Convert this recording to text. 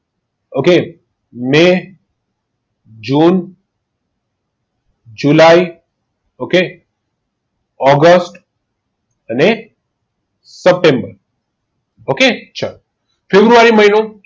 okay May June July okay August અને September okay ચલો February મહિનો